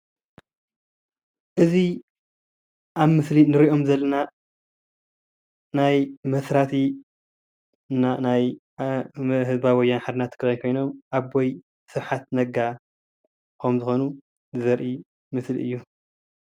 እዚ ኣብ ምስሊ እንሪኦም ዘለና ናይ መስራቲ እና ናይ ህዝባዊ ሓርነት ትግራይ ኮይኖም ኣቦ ስብሓት ነጋ ከም ዝኮኑ ዘርኢ ምስሊ እዩ፡፡